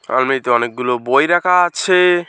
আলমারিতে অনেকগুলো বই রাখা আছে।